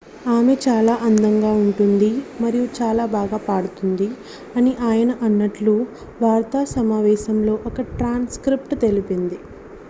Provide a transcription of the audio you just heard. """ఆమె చాలా అందంగా ఉంటుంది మరియు చాలా బాగా పాడుతుంది" అని ఆయన అన్నట్లు వార్తా సమావేశంలో ఓ ట్రాన్స్క్రిప్టు తెలిపింది.